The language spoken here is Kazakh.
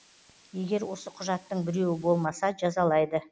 егер осы құжаттың біреуі болмаса жазалайды